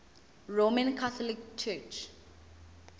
roman catholic church